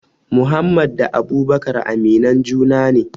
Muhammad da abubakar aminan juna ne